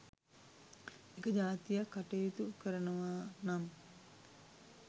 එක ජාතියක් කටයුතු කරනවා නම්